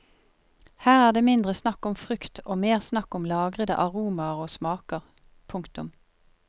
Her er det mindre snakk om frukt og mer snakk om lagrede aromaer og smaker. punktum